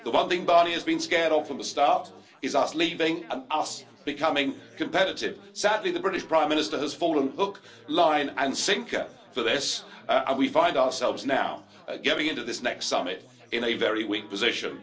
The one thing Barnier has been scared of from the start is us leaving and us becoming competitive. Sadly, the British Prime Minister has fallen hook, line and sinker for this, and we find ourselves now going into this next summit in a very weak position.